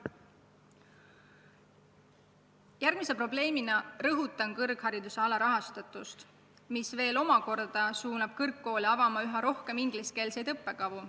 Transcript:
Järgmise probleemina rõhutan kõrghariduse alarahastatust, mis samuti suunab kõrgkoole avama üha rohkem ingliskeelseid õppekavu.